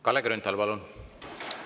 Kalle Grünthal, palun!